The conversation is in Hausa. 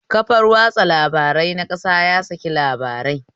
Kafar watsa labarai na ƙasa ya saki labarai